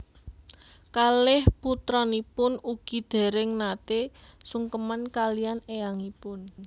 Kalih putranipun ugi déréng naté sungkeman kaliyan éyangipun